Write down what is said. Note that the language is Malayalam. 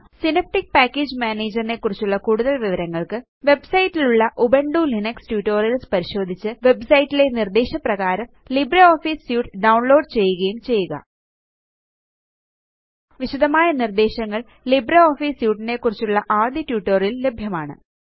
സിനാപ്റ്റിക് പാക്കേജ് മാനേജർ നെക്കുറിച്ചുള്ള കൂടുതല് വിവരങ്ങള്ക്ക് വെബ്സൈറ്റ് ലുള്ള ഉബുന്റു ലിനക്സ് ട്യൂട്ടോറിയൽസ് പരിശോധിച്ച് വെബ്സൈറ്റിലെ നിര്ദ്ദേശപ്രകാരം ലിബ്രിയോഫീസ് സ്യൂട്ട് ഡൌണ്ലോഡ് ചെയ്യുകയും ചെയ്യുക വിശദമായ നിര്ദ്ദേശങ്ങള് ലിബ്രിയോഫീസ് സ്യൂട്ട് നെക്കുറിച്ചുള്ള ആദ്യ ട്യൂട്ടോറിയൽ ല് ലഭ്യമാണ്